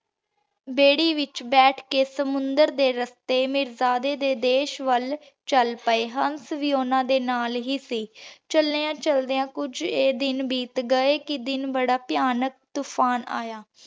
ਦੇਰ੍ਹੀ ਵਿਚ ਬੈਠ ਕੇ ਸਮੁੰਦਰ ਦੇ ਰਸਤੇ ਮੀਰਜਾਦੇ ਦੇ ਦੇਸ਼ ਵੱਲ ਚਲ ਪਏ। ਹੰਸ ਵੀ ਓਹਨਾਂ ਦੇ ਨਾਲ ਹੀ ਸੀ। ਚਲ੍ਦ੍ਯਾਂ ਚਲ੍ਦ੍ਯਾਂ ਕੁਜ ਏ ਦਿਨ ਬੀਤ ਗਏ। ਕੇ ਦਿਨਬੜਾ ਭਯਾਨਕ ਤੂਫਾਨ ਆਯਾ।